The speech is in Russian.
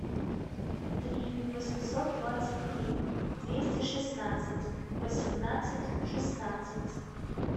три восемьсот двадцать три двести шестнадцать восемнадцать шестнадцать